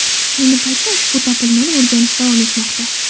Ayni paytda ushbu topilmani o‘rganish davom etmoqda.